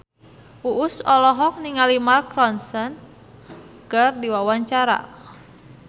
Uus olohok ningali Mark Ronson keur diwawancara